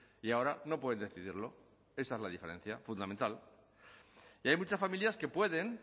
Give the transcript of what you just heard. y ahora no pueden decidirlo esa es la diferencia fundamental y hay muchas familias que pueden